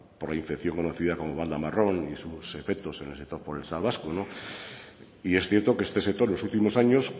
por la infección conocida como banda marrón y sus efectos en el sector forestal vasco y es cierto que este sector los últimos años